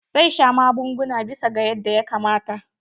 Zai sha magunguna bisa ga yanda ya kamata.